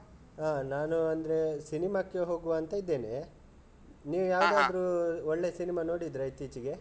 ಹ ನಾನು ಅಂದ್ರೆ ಸಿನಿಮಾಕ್ಕೆ ಹೋಗುವ ಅಂತ ಇದ್ದೇನೆ. ನೀವು ಯಾವುದಾದ್ರೂ ಒಳ್ಳೆ ಸಿನಿಮಾ ನೋಡಿದ್ದೀರಾ ಇತ್ತೀಚೆಗೆ?